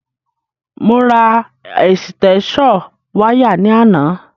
Mo ra ẹ̀sìtẹ́ṣọ̀ wiáyà ní àná.